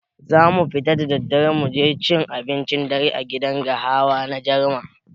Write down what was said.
Zamu fita da daddare muje cin abincin dare a gidan gahawa na Jarma.